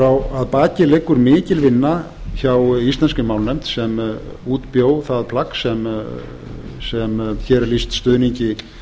þinginu að baki liggur mikil vinna hjá íslenskri málnefnd sem útbjó það plagg sem hér er lýst stuðningi